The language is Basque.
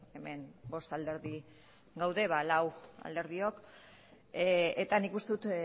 hemen bost alderdi gaude ba lau alderdiok eta nik uste dut